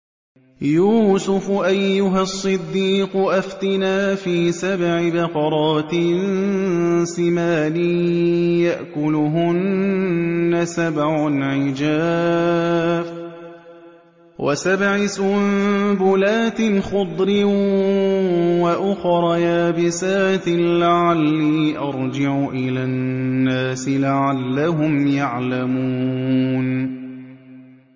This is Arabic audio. يُوسُفُ أَيُّهَا الصِّدِّيقُ أَفْتِنَا فِي سَبْعِ بَقَرَاتٍ سِمَانٍ يَأْكُلُهُنَّ سَبْعٌ عِجَافٌ وَسَبْعِ سُنبُلَاتٍ خُضْرٍ وَأُخَرَ يَابِسَاتٍ لَّعَلِّي أَرْجِعُ إِلَى النَّاسِ لَعَلَّهُمْ يَعْلَمُونَ